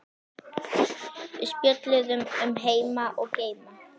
Við spjölluðum um heima og geima.